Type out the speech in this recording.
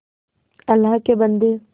अल्लाह के बन्दे